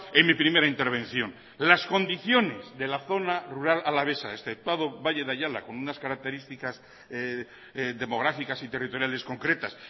en mi primera intervención las condiciones de la zona rural alavesa este valle de ayala con unas características demográficas y territoriales concretas